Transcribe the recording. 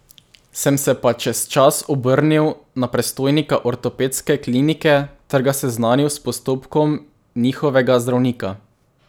Sem se pa čez čas obrnil na predstojnika Ortopedske klinike ter ga seznanil s postopkom njihovega zdravnika.